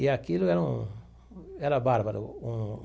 E aquilo é um era bárbaro um.